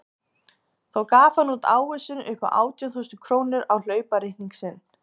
Þá gaf hann út ávísun upp á átján þúsund krónur á hlaupareikning sinn.